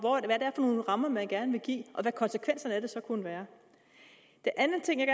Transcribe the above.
nogle rammer man gerne vil give og hvad konsekvenserne af det så kunne være den anden ting jeg